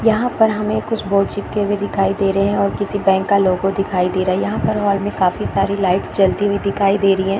यहाँ पर हमें कुछ बोर्ड चिपके भी दिखाई दे रहे है और किसी बैंक का लोगो दिखाई दे रहा है यहाँ पर ओर काफी सारी लाइट्स जलती हुई दिखाई दे रही है।